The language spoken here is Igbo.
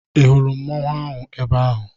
Ị hụrụ mmanwụ ebe ahụ?